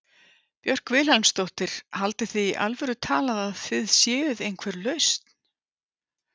Björk Vilhelmsdóttir: Haldið þið í alvöru talað að þið séuð einhver lausn?